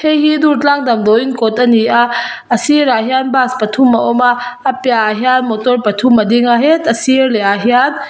heihi durtlang damdawiin kawt ani a a sirah hian bus pathum a awma a piahah hian motor pathum ading a asir lehah hian--